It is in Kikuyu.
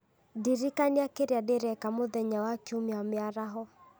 ndirikania kĩrĩa ndĩreka mũthenya wa kiumia mĩaraho